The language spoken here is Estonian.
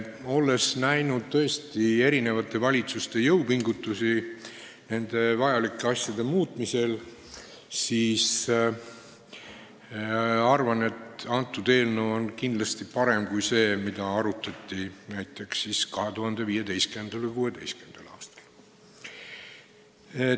Olles näinud eri valitsuste jõupingutusi nende vajalike asjade muutmisel, arvan ma, et tänane eelnõu on kindlasti parem kui see, mida arutati näiteks 2015. ja 2016. aastal.